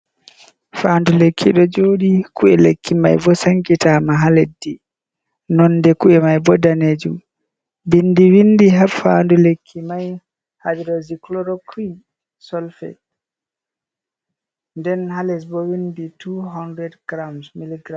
Faandu lekki ɗo joɗi, ku’e lekki mai bo sankitama haa leddi, nonde ku’e mai bo danejum. Bindi wiindi haa bandu lekki mai hadrocycloroquin solfe, nden haa les bo wiindi 200gm mgm.